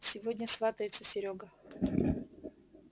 сегодня сватается серёга